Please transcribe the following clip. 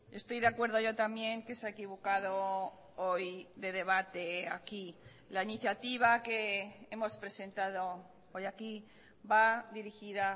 estoy de acuerdo yo también que se ha equivocado hoy de debate aquí la iniciativa que hemos presentado hoy aquí va dirigida